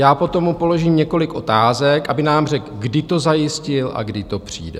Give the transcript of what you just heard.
Já potom mu položím několik otázek, aby nám řekl, kdy to zajistil a kdy to přijde.